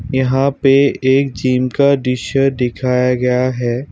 यहां पे एक जिम का दृश्य दिखाया गया है।